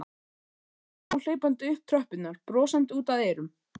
Pabbi kom hlaupandi upp tröppurnar, brosandi út að eyrum.